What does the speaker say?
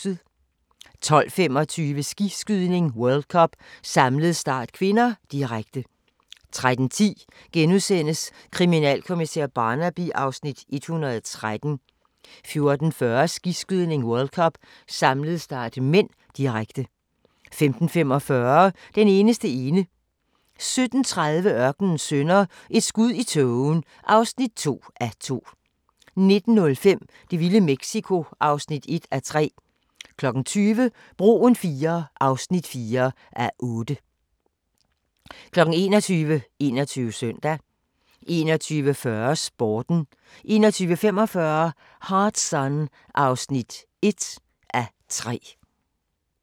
12:25: Skiskydning: World Cup - samlet start (k), direkte 13:10: Kriminalkommissær Barnaby (Afs. 113)* 14:40: Skiskydning: World Cup - samlet start (m), direkte 15:45: Den eneste ene 17:30: Ørkenens Sønner – Et skud i tågen (2:2) 19:05: Det vilde Mexico (1:3) 20:00: Broen IIII (4:8) 21:00: 21 Søndag 21:40: Sporten 21:45: Hard Sun (1:3)